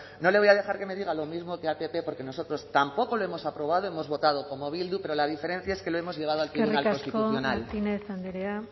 no le voy a dejar que me diga lo mismo que al pp porque nosotros tampoco lo hemos aprobado hemos votado como bildu pero la diferencia es que lo hemos llevado al tribunal constitucional eskerrik asko martínez andrea